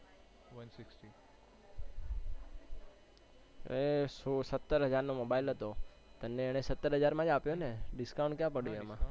એ સોલ સત્તર હજાર નો મોબાઈલ હતો, પણ મેં એને સત્તર હજાર માજ આપ્યો ને discount ક્યાં પડ્યું એમાં?